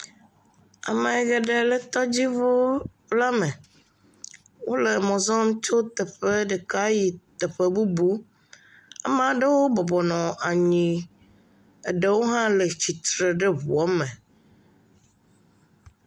Ame geɖe le tɔdziŋuula me. Wole mɔ zɔm tso teƒe ɖeka yi teƒe bubu. Amaa ɖewo bɔbɔ nɔ anyii, eɖewo hã le tsitre ɖe ŋua me.